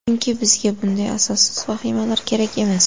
Chunki bizga bunday asossiz vahimalar kerak emas.